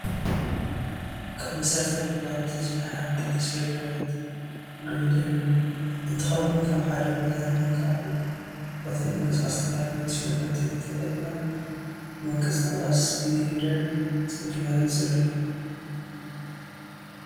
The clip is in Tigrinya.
ካብ መሰረታዊ ግልጋሎት ዝህቡ ሓንቲ ተሽኴካሪት ጊሪደር እንትከውን ካብ ሓደ ቦታ ናቀብ ካሊእ ቦታ ንምቅስቃስ ዝተፈላለዩ ተሽከርከርቲ ተጠቂምና ንምቅስቃስ ብጊሪደር ፅርግያ ይፅረግ።